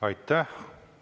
Aitäh!